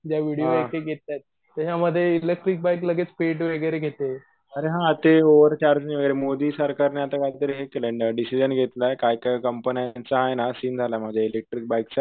त्याच्यामध्ये electric bike लगेच पेट वैगरे घेते अरे हा ते ओव्हर चार्जिंग वगैरे. मोदी सरकारने आता कोणतीतरी हे केलंय ना डिसिजन घेतलाय काही कंपन्यांचायेना सिन झाला मध्ये इलेकट्रीक बाईक च्या